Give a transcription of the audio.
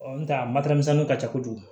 ntɛ a matɛrɛmisɛnninw ka ca kojugu